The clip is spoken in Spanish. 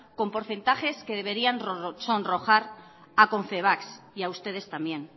con porcentajes que deberían sonrojar a confebask y a ustedes también